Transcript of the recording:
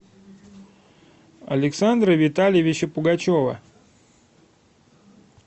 александра витальевича пугачева